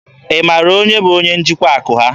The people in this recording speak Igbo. Ị mara onye bụ onye njikwa akụ ha?